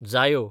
जायो